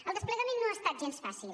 el desplegament no ha estat gens fàcil